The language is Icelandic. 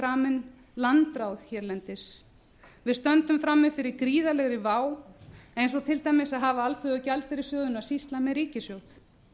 framin landráð hérlendis við stöndum frammi fyrir gríðarlegri vá eins og til dæmis að hafa alþjóðagjaldeyrissjóðinn að sýsla með ríkissjóð